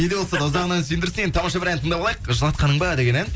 не де болса да ұзағынан сүйіндірсін енді тамаша бір ән тыңдап алайық жылатқаның ба деген ән